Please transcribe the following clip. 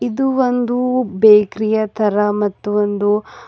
ಇದು ಒಂದು ಬೇಕರಿಯ ತರ ಮತ್ತು ಒಂದು--